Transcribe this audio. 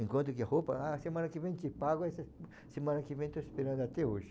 Enquanto que roupa, ah, semana que vem te pago, ah, se semana que vem estou esperando até hoje.